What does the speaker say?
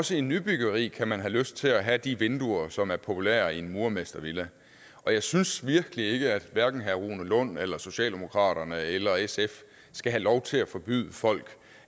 også i nybyggeri kan man have lyst til at have de vinduer som er populære i en murermestervilla jeg synes virkelig ikke at hverken herre rune lund eller socialdemokraterne eller sf skal have lov til at forbyde folk